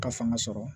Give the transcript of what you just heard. Ka fanga sɔrɔ